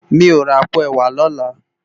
Mi ó rá àpó èwá lòlá